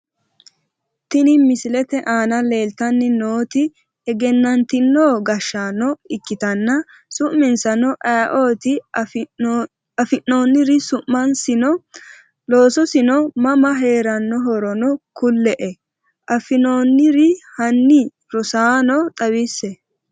Tini misilete aana leeeltani nooti egenantino gashaano ikitana suminsano ayiioti afinooniri sumasino loososino mama heeranorono kule,e afinooniri hani rosaano xawisse?